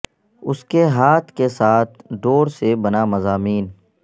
اس کے ہاتھ کے ساتھ ڈور سے بنا مضامین